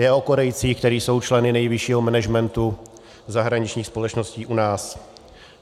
Je o Korejcích, kteří jsou členy nejvyššího managementu zahraničních společností u nás.